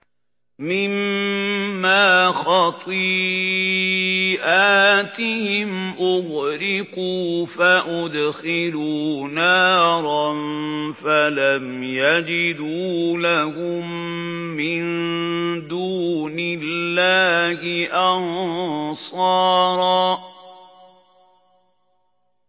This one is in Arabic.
مِّمَّا خَطِيئَاتِهِمْ أُغْرِقُوا فَأُدْخِلُوا نَارًا فَلَمْ يَجِدُوا لَهُم مِّن دُونِ اللَّهِ أَنصَارًا